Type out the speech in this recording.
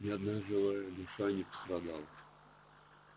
ни одна живая душа не пострадала